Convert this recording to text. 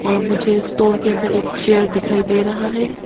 और मुझे स्टोर के अंदर एक चेयर दिखाई दे रहा है।